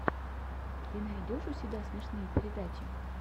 ты найдешь у себя смешные передачи